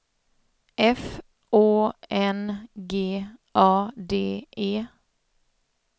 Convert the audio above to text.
F Å N G A D E